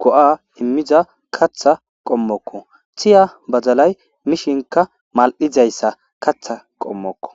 go'a imizza qaththa qomoko tiya badalay mishshnikka malidayissa qatha qomoko.